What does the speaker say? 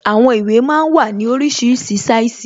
Àwọn ìwé máa ń wà ní oríṣiríṣi sáìsì